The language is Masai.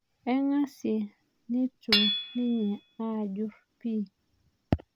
Aing'asie nitu ninye ajuru pii